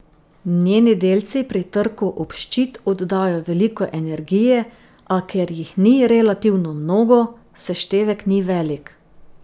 Njeni delci pri trku ob ščit oddajo veliko energije, a ker jih ni relativno mnogo, seštevek ni velik.